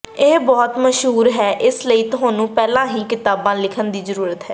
ਇਹ ਬਹੁਤ ਮਸ਼ਹੂਰ ਹੈ ਇਸ ਲਈ ਤੁਹਾਨੂੰ ਪਹਿਲਾਂ ਹੀ ਕਿਤਾਬਾਂ ਲਿਖਣ ਦੀ ਜ਼ਰੂਰਤ ਹੈ